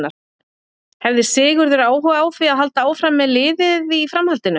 Hefði Sigurður áhuga á því að halda áfram með liðið í framhaldinu?